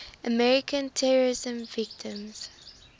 american terrorism victims